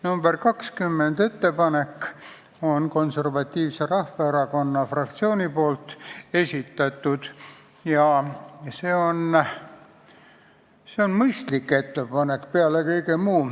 Nr 20 ettepanek on Konservatiivse Rahvaerakonna fraktsiooni esitatud ja see on mõistlik ettepanek.